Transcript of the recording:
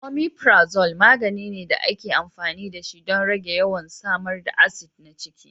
Omeprazole magani ne da ake amfani dashi don rage yawan samar da acid na ciki.